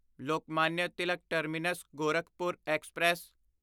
Lokmanya Tilak terminus Gorakhpur express